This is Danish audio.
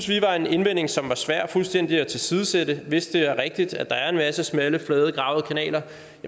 vi var en indvending som var svær fuldstændig at tilsidesætte hvis det er rigtigt at der er en masse smalle flade gravede kanaler